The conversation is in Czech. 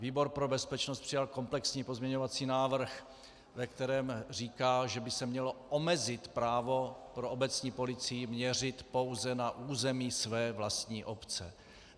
Výbor pro bezpečnost přijal komplexní pozměňovací návrh, ve kterém říká, že by se mělo omezit právo pro obecní policii měřit pouze na území své vlastní obce.